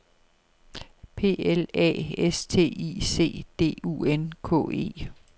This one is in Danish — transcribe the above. P L A S T I C D U N K E